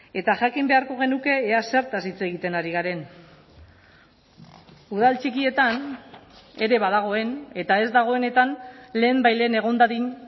eta jakin beharko genuke ea zertaz hitz egiten ari garen udal txikietan ere badagoen eta ez dagoenetan lehenbailehen egon dadin